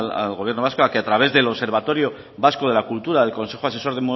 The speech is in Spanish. al gobierno vasco a que a través del observatorio vasco de la cultura del consejo asesor